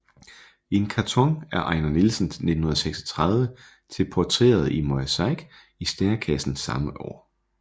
En karton af Ejnar Nielsen 1936 til portrætteret i mosaik i Stærekassen samme år